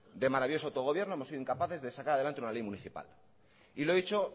de maravilloso autogobierno hemos sido incapaces de sacar adelante una ley municipal y lo he dicho